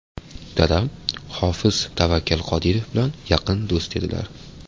Dadam hofiz Tavakkal Qodirov bilan yaqin do‘st edilar.